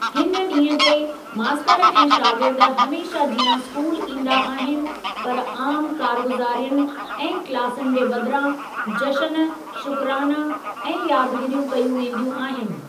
हिन ॾींहुं ते, मास्‍तर ऐं शागिर्द हमेशह जिआं स्कूल ईंदा आहिनि पर आमु कारगुज़ारियुनि ऐं क्‍लासुनि जे बदिरां जश्‍न, शुक्राना ऐं यादगिरियूं कयूं वेंदियूं आहिनि।